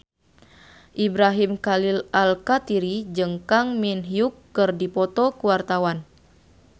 Ibrahim Khalil Alkatiri jeung Kang Min Hyuk keur dipoto ku wartawan